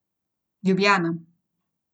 Ljubljana.